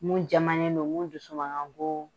Mun jamannen don, mun dusu ma ka goo